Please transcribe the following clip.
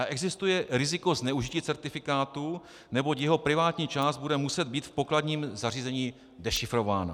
A existuje riziko zneužití certifikátu, neboť jeho privátní část bude muset být v pokladním zařízení dešifrována.